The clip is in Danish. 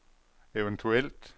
eventuelt